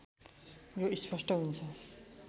यो स्पष्ट हुन्छ